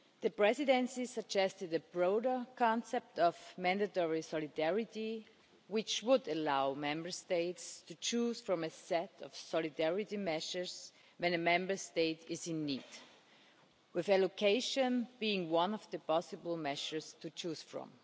The Presidency suggested a broader concept of mandatory solidarity, which would allow Member States to choose from a set of solidarity measures when one Member State is in need with allocation being one of the possible measures to choose from.